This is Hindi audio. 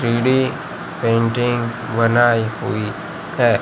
थ्री डी पेंटिंग बनाई हुई है।